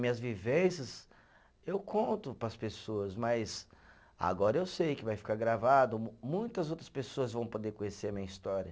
Minhas vivências eu conto para as pessoas, mas agora eu sei que vai ficar gravado, mu muitas outras pessoas vão poder conhecer a minha história.